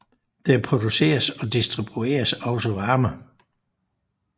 Der produceres og distribueres også varme